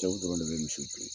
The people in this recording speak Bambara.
Cɛw dɔrɔn de be misiw biri.